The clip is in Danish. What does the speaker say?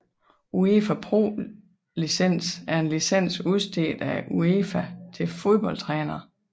UEFA Pro Licens er en licens udstedt af UEFA til fodboldtrænere